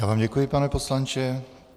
Já vám děkuji, pane poslanče.